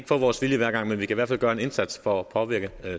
få vores vilje hver gang men vi kan i hvert fald gøre en indsats for at påvirke